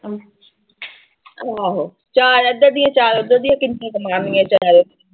ਆਹੋ ਚਾਰ ਇੱਧਰ ਦੀਆਂ ਚਾਰ ਉੱਧਰ ਦੀਆਂ ਕਿੰਨੇ ਕੀ ਮਾਰਨਗੀਆਂ ਚਲ